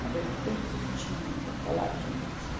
Cabelo bem curtinho, bem coladinho, assim.